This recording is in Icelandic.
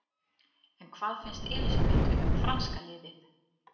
En hvað finnst Elísabetu um franska liðið?